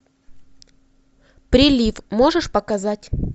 прилив можешь показать